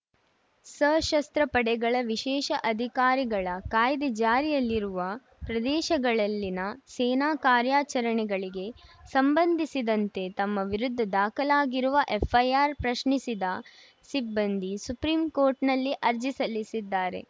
ಸಶಸ್ತ್ರ ಪಡೆಗಳ ವಿಶೇಷ ಅಧಿಕಾರಗಳ ಕಾಯ್ದೆ ಜಾರಿಯಲ್ಲಿರುವ ಪ್ರದೇಶಗಳಲ್ಲಿನ ಸೇನಾ ಕಾರ್ಯಾಚರಣೆಗಳಿಗೆ ಸಂಬಂಧಿಸಿದಂತೆ ತಮ್ಮ ವಿರುದ್ಧ ದಾಖಲಾಗಿರುವ ಎಫ್‌ಐಆರ್‌ ಪ್ರಶ್ನಿಸಿದ ಸಿಬ್ಬಂದಿ ಸುಪ್ರೀಂಕೋರ್ಟ್‌ನಲ್ಲಿ ಅರ್ಜಿ ಸಲ್ಲಿಸಿದ್ದಾರೆ